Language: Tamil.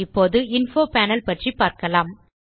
இப்போது இன்ஃபோ பேனல் பற்றி பார்க்கலாம்